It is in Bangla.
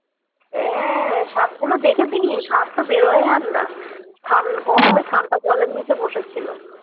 হ্যাঁ সাপগুলো দেখছি কি সাপ তো বেরোয় আর না থান গরমে ঠান্ডা জল এর নিচে বসেছিল